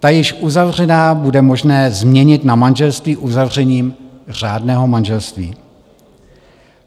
Ta již uzavřená bude možné změnit na manželství uzavřením řádného manželství.